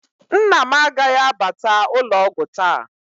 Nna m agaghị abata ụlọ ọgwụ taa